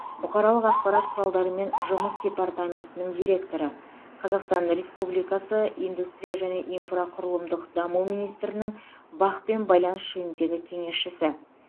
бұқаралық ақпарат құралдарымен жұмыс департаментінің директоры қазақстан республикасы индустрия және инфрақұрылымдық даму министрінің бақ пен байланыс жөніндегі кеңесшісі